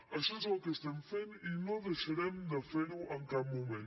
això és el que estem fent i no deixarem de fer ho en cap moment